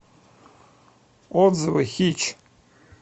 отзывы хитч